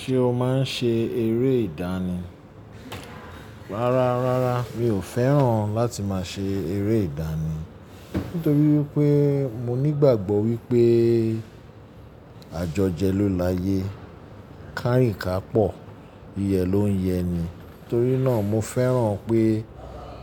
Ṣé o máa ń ṣe eré ìdánì? Rárá, rárá mi ò fẹ́ràn láti máa ṣe eré ìdánì. Nítorí wípé mo nígbàgbọ́ wípé àjọjẹ ló laye, kárìn ká pọ̀, yiyẹ ló ń yẹni. Torí náà mo fẹ́ràn pé